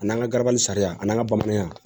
A n'an ka garabali sariya n'an ka bamananya